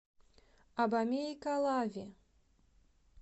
абомей калави